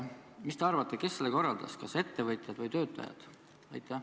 Mis te arvate, kes selle korraldas, kas ettevõtjad või töötajad?